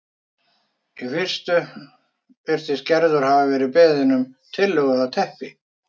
Í fyrstu virðist Gerður hafa verið beðin um tillögu að teppi